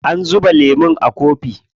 An zuba lemun a kofi.